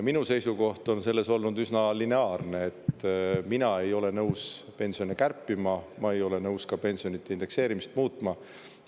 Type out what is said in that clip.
Minu seisukoht on selles olnud üsna lineaarne: mina ei ole nõus pensione kärpima, ma ei ole nõus ka pensionide indekseerimist muutma.